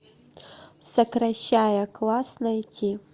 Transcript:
сокращая класс найти